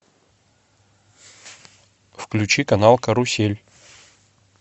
включи канал карусель